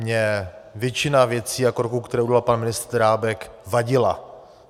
Mně většina věcí a kroků, které udělal pan ministr Drábek, vadila.